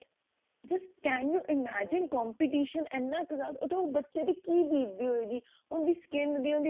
just can you imagine competition ਇੰਨਾ ਜਿਆਦਾ ਉਹਤੋਂ ਬੱਚੇ ਤੇ ਕੀ ਬੀਤਦੀ ਹੋਏਗੀ ਉਹਦੀ skin ਦੀ